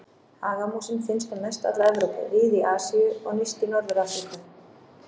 Hagamúsin finnst um mest alla Evrópu, víða í Asíu og nyrst í Norður-Afríku.